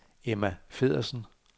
Emma Feddersen